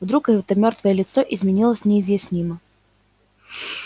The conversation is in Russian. вдруг это мёртвое лицо изменилось неизъяснимо